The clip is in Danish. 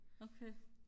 okay